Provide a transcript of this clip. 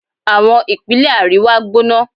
Àwọn ìpínlẹ̀ àríwá gbóná